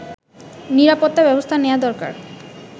নিরাপত্তা ব্যবস্থা নেয়া দরকার